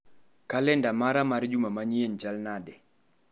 Kalenda mara mar juma manyien chal nade.